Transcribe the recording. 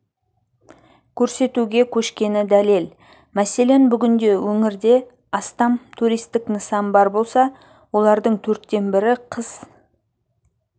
көрсетуге көшкені дәлел мәселен бүгінде өңірде астам туристік нысан бар болса олардың төрттен бірі қыс